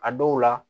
A dɔw la